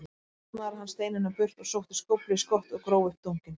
Nú snaraði hann steininum burt og sótti skóflu í skottið og gróf upp dunkinn.